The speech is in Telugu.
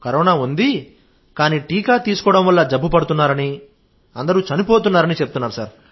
కరోనా ఉంది కానీ టీకా తీసుకోవడం వల్ల జబ్బు పడుతున్నారని అందరూ చనిపోతున్నారని చెప్తున్నారు సార్